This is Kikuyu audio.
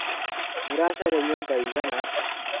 Mũracaria nyũmba ĩigana atĩa?